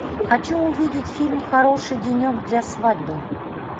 хочу увидеть фильм хороший денек для свадьбы